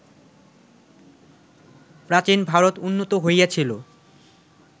প্রাচীন ভারত উন্নত হইয়াছিল